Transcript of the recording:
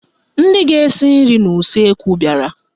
Ndị ga-esi nri n'useekwu bịara